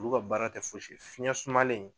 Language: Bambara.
Olu ka baara tɛ fosi ye fiyɛn sumalen